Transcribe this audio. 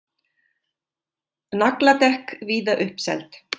Nagladekk víða uppseld